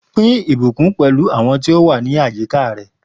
Pín ìbùkún pẹ̀lú àwọn tí ó wà ní àyíká rẹ.